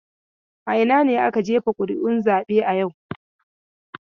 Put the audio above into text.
A ina ne aka jefa ƙuri'un zaben yau?